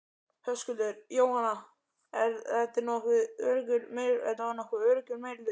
Höskuldur: Jóhanna, þetta var nokkuð öruggur meirihluti?